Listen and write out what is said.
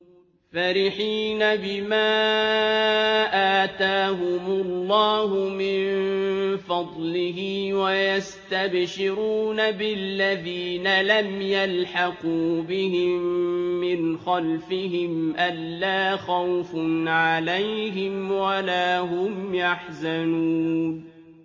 فَرِحِينَ بِمَا آتَاهُمُ اللَّهُ مِن فَضْلِهِ وَيَسْتَبْشِرُونَ بِالَّذِينَ لَمْ يَلْحَقُوا بِهِم مِّنْ خَلْفِهِمْ أَلَّا خَوْفٌ عَلَيْهِمْ وَلَا هُمْ يَحْزَنُونَ